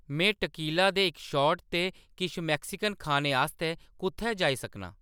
में टकीला दे इक शॉट ते किश मेक्सिकन खाने आस्तै कुʼत्थै जाई सकनां